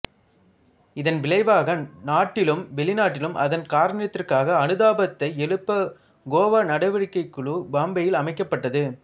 இதன் விளைவாக நாட்டிலும் வெளிநாட்டிலும் அதன் காரணத்திற்காக அனுதாபத்தை எழுப்ப கோவா நடவடிக்கைக் குழு பம்பாயில் அமைக்கப்பட்டது